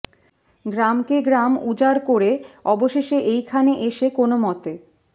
গ্রামকে গ্রাম উজাড় কোরে অবশেষে এইখানে এসে কোন মতে